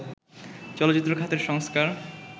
চলচ্চিত্র খাতের সংস্কার